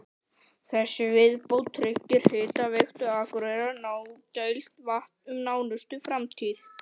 Þessi viðbót tryggir Hitaveitu Akureyrar nægilegt vatn um nánustu framtíð.